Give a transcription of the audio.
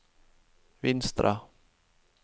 Vinstra